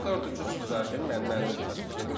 Mən dörd üç üç düzəltdim, yəni mənim şəxsi fikrimdir.